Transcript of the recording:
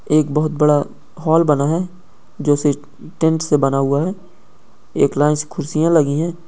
एक बहुत बड़ा हॉल बना है जैसे टेंट से बना हुआ है एक लाइन से कुर्सियां लगी हैं।